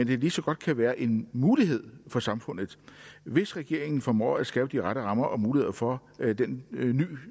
kan lige så godt kan være en mulighed for samfundet hvis regeringen formår at skabe de rette rammer og muligheder for den